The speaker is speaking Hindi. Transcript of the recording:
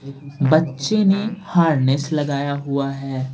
बच्चे ने हारनेस लगाया हुआ है।